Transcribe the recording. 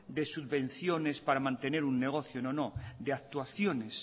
de subvenciones para mantener un negocio no no de actuaciones